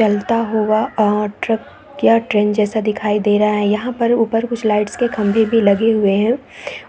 चलता हुआ और ट्रक या ट्रैन जैसा दिखाई दे रहा है यहाँ पर ऊपर कुछ लाइटस के खंभे लगे हुऐ है